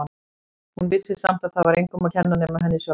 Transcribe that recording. Hún vissi samt að það var engum að kenna nema henni sjálfri.